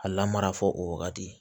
A lamara fɔ o wagati